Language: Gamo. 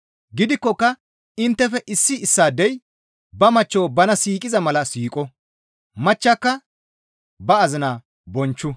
Gidikkoka inttefe issi issaadey ba machcho bana siiqiza mala siiqo; machchaka ba azinaa bonchchu.